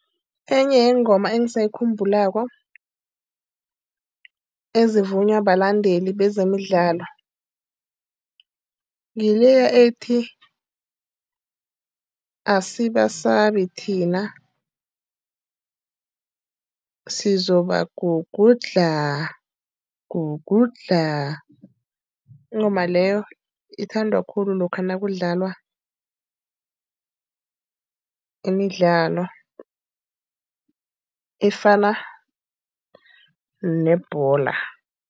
Enye yeengoma engisayikhumbulako ezivunywa balandeli bezemidlalo, ngileya ethi, asibasabi thina, sizoba gugudlha, gugudlha. Ingoma leyo ithandwa khulu lokha nakudlalwa imidlalo efana nebholo.